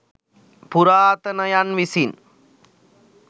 පුරාතනයන් විසින්